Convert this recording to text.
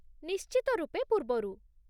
ନିଶ୍ଚିତ ରୂପେ ପୂର୍ବରୁ।